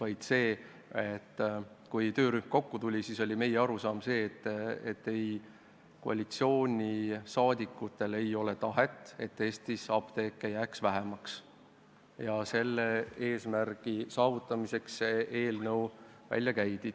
Alles siis, kui töörühm kokku tuli, saime aru, et koalitsioonisaadikud ei taha, et Eestis jääks apteeke vähemaks, ja selle eesmärgi saavutamiseks see eelnõu välja käidigi.